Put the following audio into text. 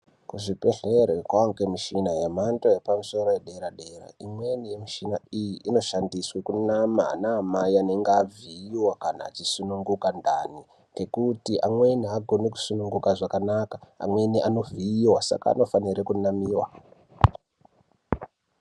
Kuzvibhedhlera kwava ngemichina yemhando yepamusoro, yedera-dera. Imweni yemichina iyi, inoshandiswe kunama vanamai vanenge vavhiiwa kana achisununguka ndani, ngekuti amweni haagoni kusununguka zvakanaka. Amweni anovhiiwa saka anofanire kunamiwa.